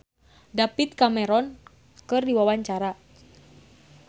Iis Dahlia olohok ningali David Cameron keur diwawancara